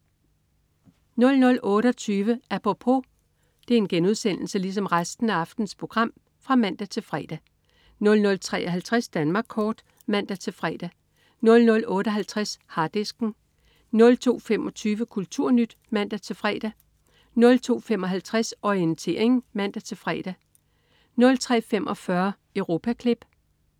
00.28 Apropos* (man-fre) 00.53 Danmark kort* (man-fre) 00.58 Harddisken* 02.25 KulturNyt* (man-fre) 02.55 Orientering* (man-fre) 03.45 Europaklip*